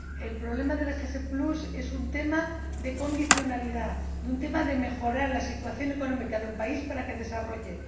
El problema del SPG es un tema de condicionalidad, un tema de mejora de la situación económica de un país para que se desarrolle.